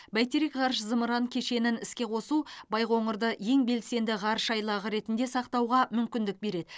бәйтерек ғарыш зымыран кешенін іске қосу байқоңырды ең белсеңді ғарыш айлағы ретінде сақтауға мүмкіндік береді